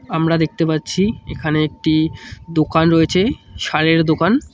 আমরা দেখতে পাচ্ছি এখানে একটি দোকান রয়েছে সারের দোকান।